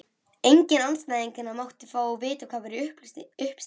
Enginn andstæðinganna mátti fá hvað væri í uppsiglingu.